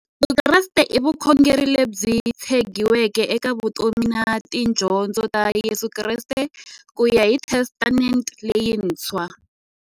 Vukreste i vukhongeri lebyi tshegiweke eka vutomi na tidyondzo ta Yesu Kreste kuya hi Testamente leyintshwa.